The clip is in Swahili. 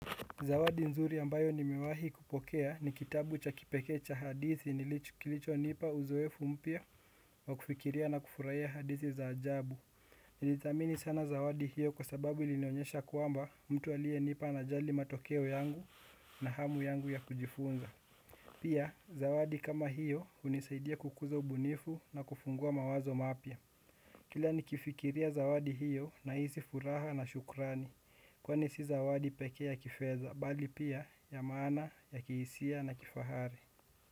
Zawadi nzuri ambayo nimewahi kupokea ni kitabu cha kipekee cha hadithi kilichonipa uzoefu mpya wa kufikiria na kufurahia hadithi za ajabu. Nilidhamini sana zawadi hiyo kwa sababu ilinionyesha kwamba mtu alienipa anajali matokeo yangu na hamu yangu ya kujifunza. Pia, zawadi kama hiyo hunisaidia kukuza ubunifu na kufungua mawazo mapya. Kila nikifikiria zawadi hiyo nahisi furaha na shukrani, kwani si zawadi pekee ya kifedha, bali pia ya maana, ya kihisia na kifahari.